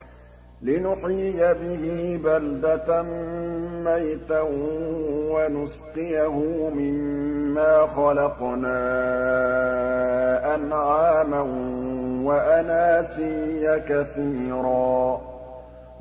لِّنُحْيِيَ بِهِ بَلْدَةً مَّيْتًا وَنُسْقِيَهُ مِمَّا خَلَقْنَا أَنْعَامًا وَأَنَاسِيَّ كَثِيرًا